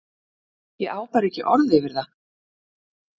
Ég á bara ekki orð yfir það.